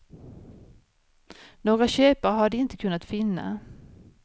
Några köpare har de inte kunnat finna.